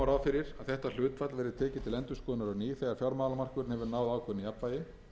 fyrir að þetta hlutfall verði tekið til endurskoðunar á ný þegar fjármálamarkaðurinn hefur náð ákveðnu jafnvægi að